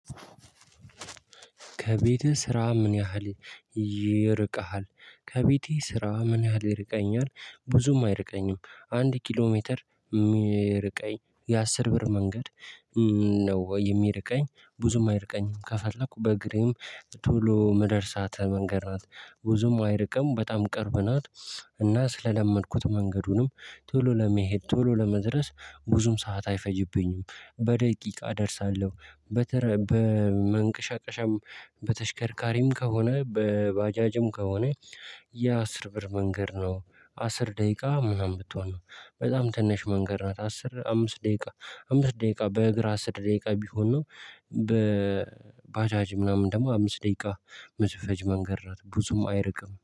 ከቤትህ ስራህ ምን ያህል ይርቀሃል? ከቤቴ ስራ ምን ያህል ይርቀኛል ብዙም አይርቀኝም አንድ ኪሎ ሜትር የሚርቀኝ የአስር ብር መንገድ ነው የሚርቀኝ ብዙም አይርቀኝም ከፈለኩ በእግሬም ቶሎ ምደርሳት መንገድ ናት ብዙም አይርቀም በጣም ቅርብ ናት። እና ስለለመድኩት መንገዱንም ቶሎ ለመሄድ ቶሎ ለመድረስ ብዙም ሰዓት አይፈጅብኝም። በደቂቃ እደርሳለሁ በተረ በመንቀሻቀሻም በተሽከርካሪም ከሆነ በባጃጅም ከሆነ የአስር ብር መንገድ ነው አስር ደቂቃ ምናምን ብትሆን በጣም ትንሽ መንገድ ናት አስር አምስት ደቂቃ አምስት ደቂቃ በእግር አስር ደቂቃ ቢሆን ነው። በባጃጅ ምናምን ደግሞ አምስት ደቂቃ መዝፈጅ መንገድ ናት ብዙም አይርቅም።